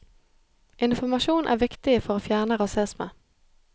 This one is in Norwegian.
Informasjon er viktig for å fjerne rasisme.